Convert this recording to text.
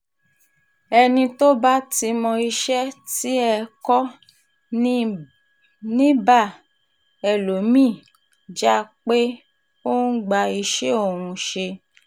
ẹni tó bá ti mọ iṣẹ́ tiẹ̀ kọ́ ni ì bá ẹlòmí-ín jà pé ó ń gba iṣẹ́ òun ṣe